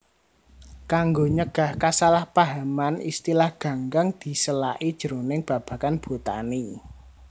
Kanggo nyegah kasalahpahaman istilah ganggang disélaki jroning babagan botani